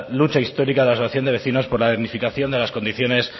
lucha histórica de la asociación de vecinos por la dignificación de las condiciones